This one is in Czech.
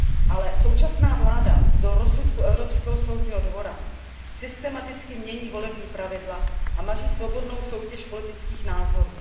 Ale současná vláda navzdory rozsudku Evropského soudního dvora systematicky mění volební pravidla a maří svobodnou soutěž politických názorů.